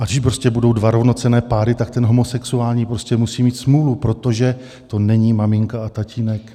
A když prostě budou dva rovnocenné páry, tak ten homosexuální prostě musí mít smůlu, protože to není maminka a tatínek.